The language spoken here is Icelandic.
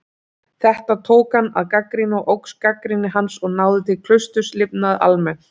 Þetta tók hann að gagnrýna og óx gagnrýni hans og náði til klausturlifnaðar almennt.